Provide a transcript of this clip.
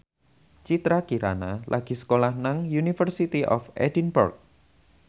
Citra Kirana lagi sekolah nang University of Edinburgh